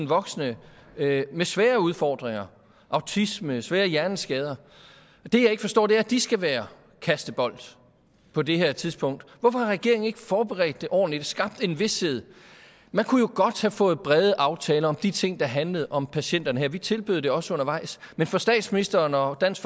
voksne med svære udfordringer autisme svære hjerneskader og det jeg ikke forstår er at de skal være kastebold på det her tidspunkt hvorfor har regeringen ikke forberedt det ordentligt og skabt en vished man kunne jo godt have fået brede aftaler om de ting der handlede om patienterne her vi tilbød det også undervejs men for statsministeren og dansk